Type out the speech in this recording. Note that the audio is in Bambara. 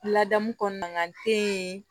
Ladamu kɔnɔna na n te yen